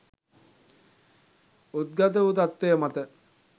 උද්ගත වු තත්ත්වය මත